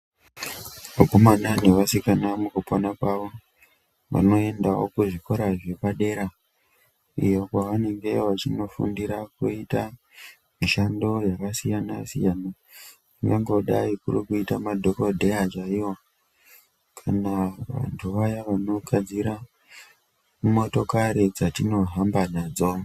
Akomana nevasikana mukupona kwavo vanoendawo kuzvikora zvepadera iyo kwavanenge vachinofundira kuita mishando yakasiyana-siyana, ingangodai kuri kuita madhokodheya chaiwo kana vantu vaya vanogadzira motokari dzatinohamba nadzo.